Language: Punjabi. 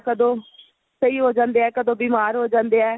ਕਦੋਂ ਸਹੀ ਹੋ ਜਾਂਦੇ ਏ ਕਦੋਂ ਬੀਮਾਰ ਹੋ ਜਾਂਦੇ ਏ